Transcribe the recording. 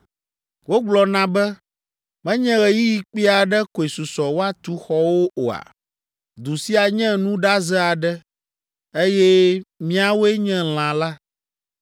Wogblɔna be, ‘Menye ɣeyiɣi kpui aɖe koe susɔ woatu xɔwo oa?’ Du sia nye nuɖaze aɖe, eye míawoe nye lã la.